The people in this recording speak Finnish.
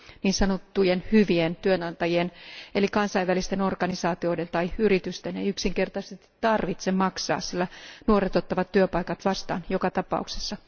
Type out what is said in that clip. Niin sanottujen hyvien työnantajien eli kansainvälisten organisaatioiden tai yritysten ei yksinkertaisesti tarvitse maksaa, sillä nuoret ottavat työpaikat vastaan joka tapauksessa.